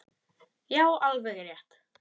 Já, alveg rétt.